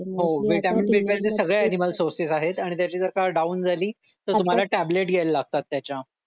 सगळ्या animal source आहेत आणि त्याची जर का डाऊन झाली तर तुम्हाला टॅबलेट घ्यायला लागतात त्याच्या